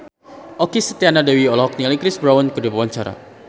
Okky Setiana Dewi olohok ningali Chris Brown keur diwawancara